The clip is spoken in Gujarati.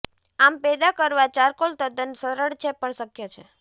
આમ પેદા કરવા ચારકોલ તદ્દન સરળ છે પણ શક્ય છે